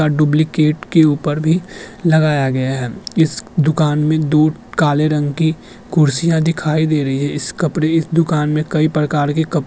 अ duplicate के ऊपर भी लगाया गया है। इस दुकान मे दो काले रंग की कुर्सियाँ दिखाई दे रहीं हैं। इस कपड़े की दुकान मे कई प्रकार के कप --